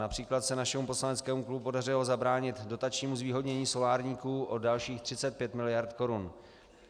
Například se našemu poslaneckému klubu podařilo zabránit dotačnímu zvýhodnění solárníků o dalších 35 mld. korun.